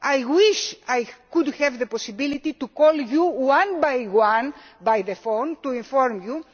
I wish I could have the possibility to call you one by one on the phone to inform